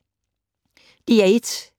DR1